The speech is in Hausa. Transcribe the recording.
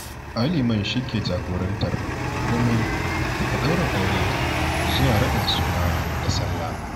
Ai liman shi ke jagorantar komai daga ɗaurin aure zuwa raɗin suna da Sallah